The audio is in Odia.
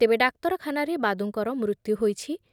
ତେବେ ଡାକ୍ତରଖାନାରେ ବାଦୁଙ୍କର ମୃତ୍ୟୁ ହୋଇଛି ।